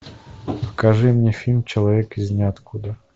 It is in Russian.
покажи мне фильм человек из ниоткуда